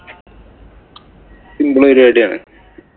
Simple പരിപാടിയാണ്.